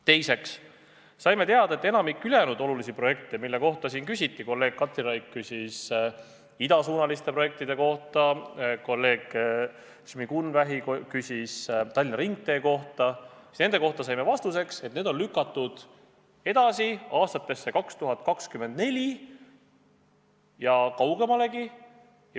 Teiseks saime teada, et enamik ülejäänud olulisi projekte, mille kohta siin küsiti – kolleeg Katri Raik küsis idasuunaliste projektide kohta, kolleeg Kristina Šmigun-Vähi küsis Tallinna ringtee kohta –, on lükatud edasi aastasse 2024 ja kaugemalegi.